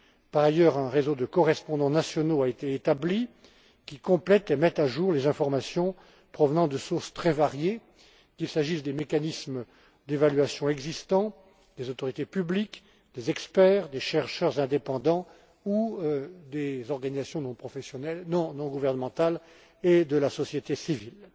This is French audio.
Par ailleurs, un réseau de correspondants nationaux a été établi, qui complète et met à jour les informations provenant de sources très variées, qu'il s'agisse des mécanismes d'évaluation existants, des autorités publiques, des experts, des chercheurs indépendants ou des organisations non gouvernementales et de la société civile.